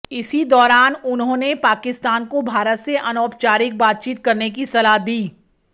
इसी दौरान उन्होंने पाकिस्तान को भारत से अनौपचारिक बातचीत करने की सलाह दी